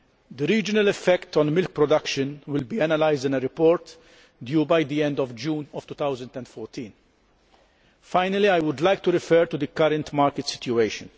The regional effects on milk production will be analysed in a report due by the end of June 2014. Finally, I would like to refer to the current market situation.